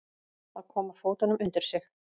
Að koma fótunum undir sig